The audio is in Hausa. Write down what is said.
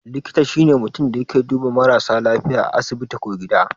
Likita shine mutun mai duba marasa lafiya a asibiti ko gida